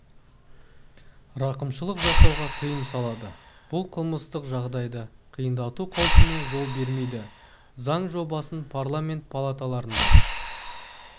рақымшылық жасауға тыйым салады бұл қылмыстық жағдайды қиындату қаупіне жол бермейді заң жобасын парламент палаталарында